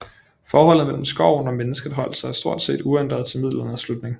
Forholdet mellem skoven og mennesket holdt sig stort set uændret til Middelalderens slutning